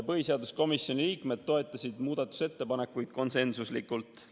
Põhiseaduskomisjoni liikmed toetasid muudatusettepanekuid konsensuslikult.